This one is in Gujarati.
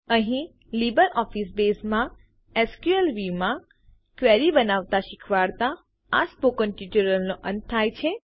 અહીં લીબરઓફીસ બેઝમાં એસક્યુએલ Viewમાં ક્વેરી બનાવતાં શીખવાડતાં આ સ્પોકન ટ્યુટોરીયલનો અંત થાય છે